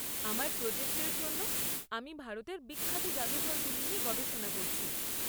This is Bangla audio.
আমার প্রজেক্ট এর জন্য আমি ভারতের বিখ্যাত জাদুঘরগুলি নিয়ে গবেষণা করছি।